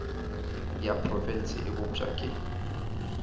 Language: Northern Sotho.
ya profense e bopša ke